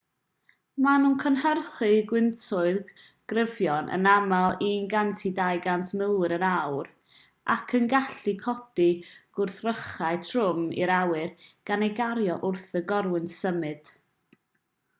maen nhw'n cynhyrchu gwyntoedd cryfion yn aml 100-200 milltir yr awr ac yn gallu codi gwrthrychau trwm i'r awyr gan eu cario wrth i'r corwynt symud